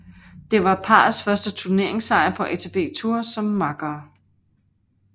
Det var parrets første turneringssejr på ATP Tour som makkere